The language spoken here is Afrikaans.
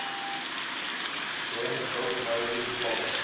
gems dotmobi plaas